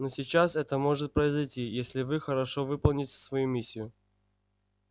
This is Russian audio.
но сейчас это может произойти если вы хорошо выполните свою миссию